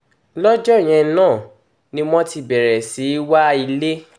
lọ́jọ́ yẹn náà ni wọ́n ti bẹ̀rẹ̀ sí í wa ilé